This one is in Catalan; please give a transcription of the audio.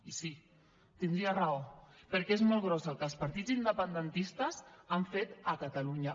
i sí tindria raó perquè és molt gros el que els partits independentistes han fet a catalunya